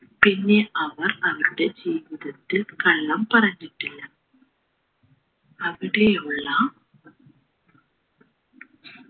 പിന്നെ അവർ അവരുടെ ജീവിതത്തിൽ കള്ളം പറഞ്ഞിട്ടില്ല അവിടെയുള്ള